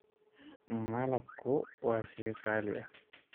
Malabku waa shay qaali ah.